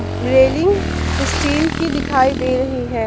Railing steel की दिखाई दे रही है।